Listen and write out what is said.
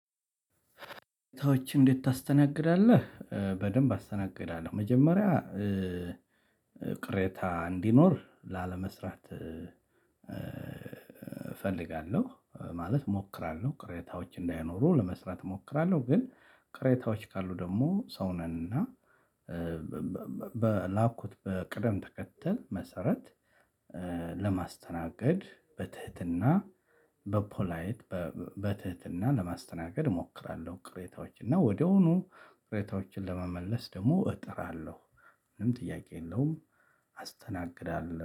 ሰዎች እንዴት ታስተናግዳለህ? በደንብ አስተናግዳለሁ መጀመሪያ ቅሬታ እንዲኖር ላለመስራት እፈልጋለሁ ማለት እሞክራለሁ ቅሬታዎች እንዳይኖሩ ለመስራት እሞክራለሁ። ግን ቅሬታዎች ካሉ ደግሞ ሰው ነን እና በላኩት በቅደም ተከተል መሰረት ለማስተናገድ በትህትና በፖላይት በትህትና ለማስተናገድ እሞክራለሁ። ቅሬታዎች እና ወዳውኑ ቅሬታዎችን ለመመለስ ደግሞ እጥራለሁ። ምንም ጥያቄ የለውም አስተናግዳለሁ